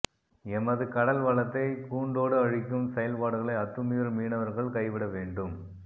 எமது கடல் வளத்தை பூண்டோடு அழிக்கும் செயல்பாடுகளை அத்துமீறும் மீனவர்கள் கைவிட வேண்டும்